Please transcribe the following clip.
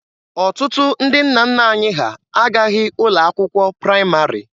Ọtụtụ ndị nna nna anyị ha agaghị ụlọ akwụkwọ praịmarị.